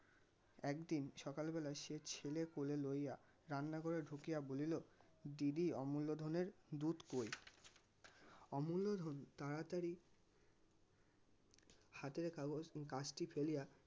একদিন সকালবেলায় সে ছেলে কোলে লইয়া রান্না ঘরে ঢুকিয়া বলিলো দিনে অমুল্য ধনের দুধ কই? অমুল্য ধন তাড়াতাড়ি হাতের কাগজ কাজটি ফেলিয়া